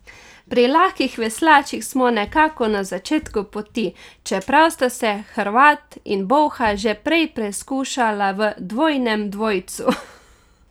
Pri lahkih veslačih smo nekako na začetku poti, čeprav sta se Hrvat in Bolha že prej preizkušala v dvojnem dvojcu.